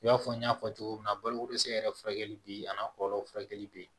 I b'a fɔ n y'a fɔ cogo min na balokodɛsɛ yɛrɛ furakɛli bɛ a n'a kɔlɔlɔ furakɛli bɛ yen